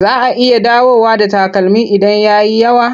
Za a iya dawowa da takalmin idan ya yi yawa.